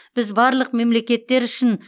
біз барлық мемлекеттер үшін